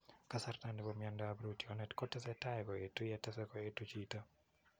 Kasarta nebo miando ap rootyonet kotese tai koetu ya tese koetu chito .